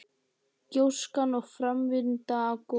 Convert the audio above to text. Gjóskan og framvinda gossins.